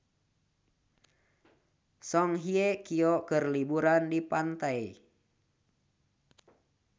Song Hye Kyo keur liburan di pantai